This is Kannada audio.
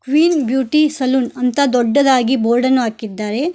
ಕ್ವೀನ್ ಬ್ಯೂಟಿ ಸಲೂನ್ ಅಂತ ದೊಡ್ಡದಾಗಿ ಬೋರ್ಡ್ ಅನ್ನು ಹಾಕಿದ್ದಾರೆ.